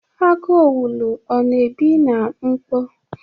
Agu owulu ọ na-ebi na mkpọ?